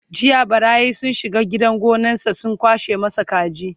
jiya ɓarayi sun shiga gidan gonansa sun kwashe masa kaji